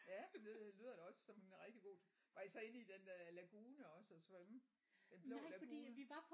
Ja det lyder da også som en rigtig god var I så inde i den øh lagune også og svømme den blå lagune